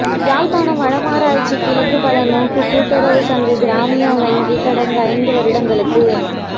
யாழ்ப்பாணம் வடமராட்சி கிழக்கு பலநோக்குக் கூட்டுறவுச் சங்க கிராமிய வங்கி கடந்த ஐந்து வருடங்களுக்கு